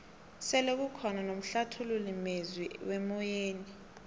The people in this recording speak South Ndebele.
sele kukhona nomhlathululi mezwi wemoyeni